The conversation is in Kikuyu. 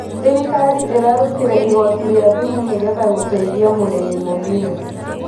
Thirikari ĩrarutire igoti ria thumu nĩgetha guteithia mũrĩmi mũnini